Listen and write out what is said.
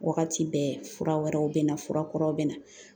Wagati bɛɛ fura wɛrɛw bɛ na fura kuraw bɛ na